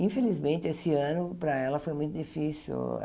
Infelizmente, esse ano, para ela, foi muito difícil.